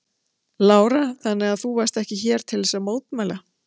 Lára: Þannig að þú varst ekki hér til þess að mótmæla?